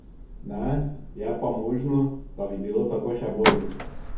Ne, je pa možno, da bi bilo tako še bolje.